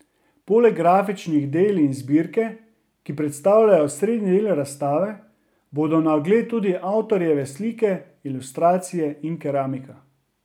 Poleg grafičnih del iz zbirke, ki predstavljajo osrednji del razstave, bodo na ogled tudi avtorjeve slike, ilustracije in keramika.